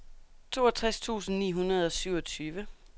toogtres tusind ni hundrede og syvogtyve